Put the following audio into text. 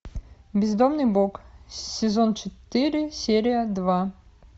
бездомный бог сезон четыре серия два